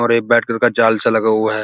एक white colour का जाल सा लगा हुआ है।